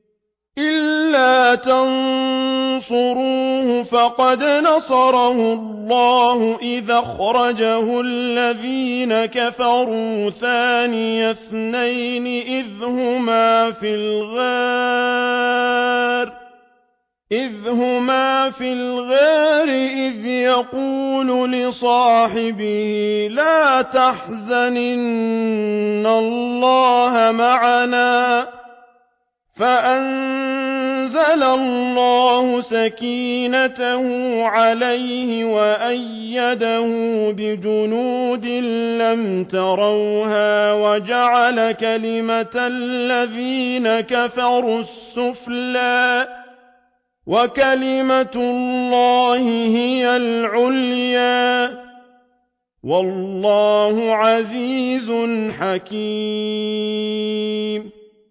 إِلَّا تَنصُرُوهُ فَقَدْ نَصَرَهُ اللَّهُ إِذْ أَخْرَجَهُ الَّذِينَ كَفَرُوا ثَانِيَ اثْنَيْنِ إِذْ هُمَا فِي الْغَارِ إِذْ يَقُولُ لِصَاحِبِهِ لَا تَحْزَنْ إِنَّ اللَّهَ مَعَنَا ۖ فَأَنزَلَ اللَّهُ سَكِينَتَهُ عَلَيْهِ وَأَيَّدَهُ بِجُنُودٍ لَّمْ تَرَوْهَا وَجَعَلَ كَلِمَةَ الَّذِينَ كَفَرُوا السُّفْلَىٰ ۗ وَكَلِمَةُ اللَّهِ هِيَ الْعُلْيَا ۗ وَاللَّهُ عَزِيزٌ حَكِيمٌ